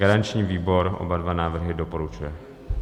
Garanční výbor oba dva návrhy doporučuje.